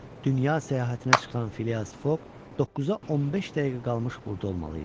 Dünya səyahətinə çıxan Fias Fok 9-a 15 dəqiqə qalmış burada olmalı idi.